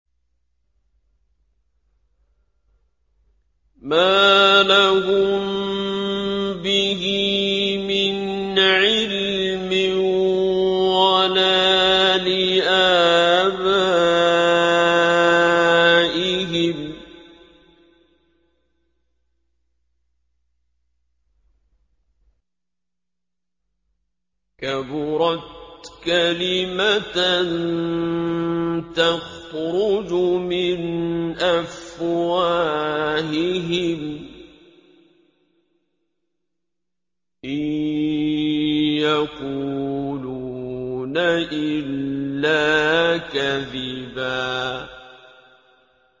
مَّا لَهُم بِهِ مِنْ عِلْمٍ وَلَا لِآبَائِهِمْ ۚ كَبُرَتْ كَلِمَةً تَخْرُجُ مِنْ أَفْوَاهِهِمْ ۚ إِن يَقُولُونَ إِلَّا كَذِبًا